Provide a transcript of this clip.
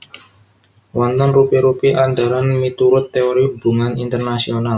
Wonten rupi rupi andharan miturut teori hubungan internasional